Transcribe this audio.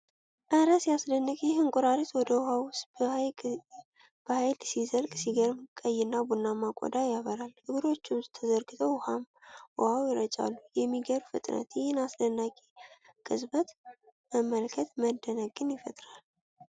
እረ ሲያስደንቅ! ይህ እንቁራሪት ወደ ውሃው ውስጥ በሃይል ሲዘልቅ! ሲገርም! ቀይና ቡናማ ቆዳው ያበራል። እግሮቹ ተዘርግተው ውኃው ይረጫል። የሚገርም ፍጥነት! ይህን አስደናቂ ቅጽበት መመልከት መደነቅን ይፈጥራል።